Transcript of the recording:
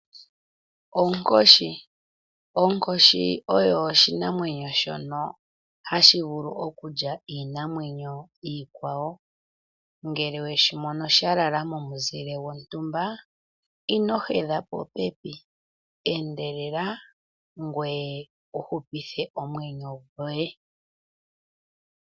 Onkoshi Onkoshi oyo oshinamwenyo shono hashi vulu okulya po iinamwenyo iikwawo. Ngele we shi mono sha lala momuzile gontumba ino gedha popepi, endelela ngoye wu hupithe omwenyo goye.